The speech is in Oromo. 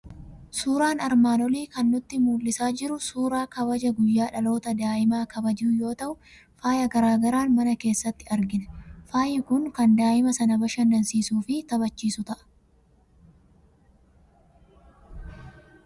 Suuraan armaan olii kan nutti mul'isaa jiru suuraa kabaja guyyaa dhalootaa daa'imaa kabajuu yoo ta'u, faaya garaa garaan mana keessatti argina. Faayi kun kan daa'ima sana bashannansiisuu fi taphachiisu ta'a.